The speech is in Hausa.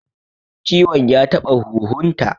Ciwon ya taɓa huhun ta